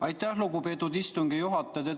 Aitäh, lugupeetud istungi juhataja!